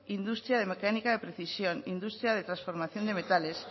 industria de mecánica de precisión industria de transformación de metales